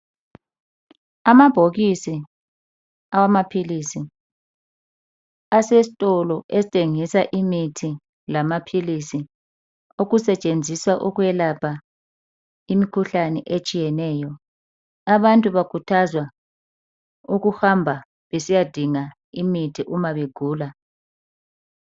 amabhokisi awamaphilisi asesitolo esithengisa imithi lamaphilisi okusetshenziswa ukwelapha imikhuhlane etshiyeneyo abantu bakhuthzwa ukuhamba besiyadinga imithi uma begula